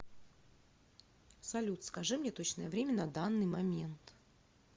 салют скажи мне точное время на данный момент